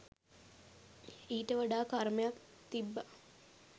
ඊට වඩා කර්මයක් තිබ්බ